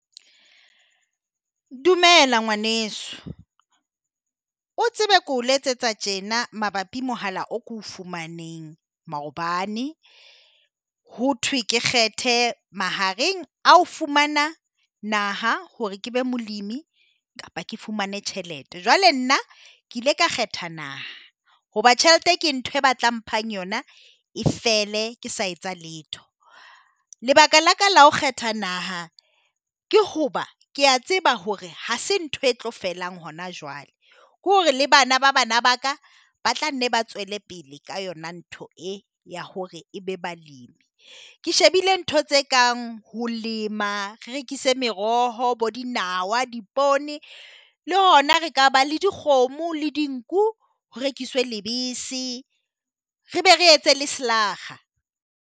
Dumela ngwaneso o tsebe ko letsetsa tjena mabapi Mohala o ko fumaneng maobane, ho thwe ke kgethe mahareng a o fumana naha hore ke be molemi kapa ke fumane tjhelete, jwale nna ke ile ka kgetha naha hoba tjhelete ke ntho e ba tla mphang yona e fele ke sa etsa letho. Lebaka la ka la ho kgetha naha ke hoba kea tseba hore ha se ntho e tlo felang hona jwale ke hore le bana ba bana baka ba tla nne ba tswele pele ka yona ntho e ya hore e be balemi. Ke shebile ntho tse kang ho lema re rekise meroho bo dinawa dipoone le hona re ka ba le dikgomo le dinku, ho rekiswe lebese re be re etse le slaag-a.